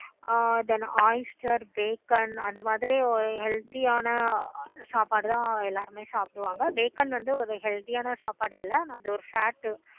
ஆஹ் then oyster, அந்த மாதிரி ஒரு healthy சாப்பாடு தான் எல்லாருமே சாப்பிடுவாங்க. வந்து ஒரு healthy ஆனா சாப்பாடு இல்ல து ஒரு fat